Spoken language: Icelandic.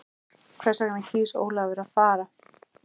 Hvers vegna kýs Ólafur að fara?